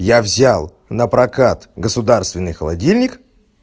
я взял напрокат государственный холодильник